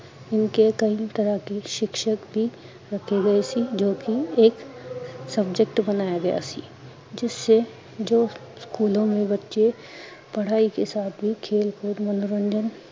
ਉਣਕੇ ਕਈ ਤਰਾਂ ਕੇ ਸ਼ਿਕਸ਼ਿਕ ਬੀ, ਰੱਖੇ ਗਏ ਸੀ ਜੋਕੀ ਏਕ subject ਬਣਾਯਾ ਗਿਆ ਸੀ, ਜਿਸਸਏ ਜੋ ਸਕੂਲੋਂ ਮੇ ਬਚੇ ਪੜਾਈ ਕੇ ਸਾਥ ਹੀਂ ਖੇਲ ਕੂਦ ਮਨੋਰੰਜਨ